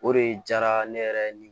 O de diyara ne yɛrɛ ni